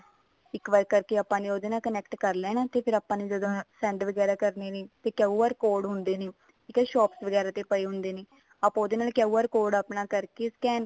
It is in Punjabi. ਇੱਕ ਵਾਰੀ ਕਰਕੇ ਆਪਾਂ ਉਹਦੇ ਨਾਲ connect ਕਰ ਲੈਣਾ ਤੇ ਫ਼ੇਰ ਆਪਾਂ ਨੇ ਜਦੋਂ send ਵਗੈਰਾ ਕਰਨੇ ਨੇ ਤੇ QR code ਹੁੰਦੇ ਨੇ ਜਿਹੜੇ shop ਵਗੈਰਾ ਤੇ ਪਏ ਹੁੰਦੇ ਨੇ ਆਪਾਂ ਉਹਦੇ ਨਾਲ QR code ਆਪਣਾ ਕਰਕੇ scan